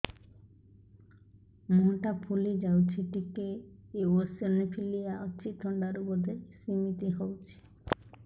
ମୁହଁ ଟା ଫୁଲି ଯାଉଛି ଟିକେ ଏଓସିନୋଫିଲିଆ ଅଛି ଥଣ୍ଡା ରୁ ବଧେ ସିମିତି ହଉଚି